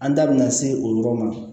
An da bina se o yɔrɔ ma